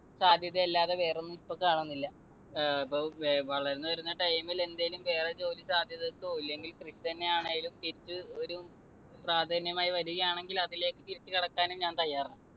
സാധ്യത അല്ലാതെ വേറെയൊന്നും ഇപ്പൊ കാണുന്നില്ല. ഏർ ഇപ്പോ വളർന്നു വരുന്ന time ൽ എന്തേലും വേറെ ജോലി സാധ്യതക്കോ ഇല്ലെങ്കിൽ കൃഷി തന്നെയാണെങ്കിലും തിരിച്ച് ഒരു പ്രാധാന്യമായി വരുകയാണെങ്കിൽ അതിലേക്ക് തിരിച്ചുകടക്കാനും ഞാൻ തയ്യാറാണ്.